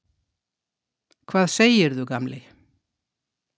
Hvað segirðu, gamli?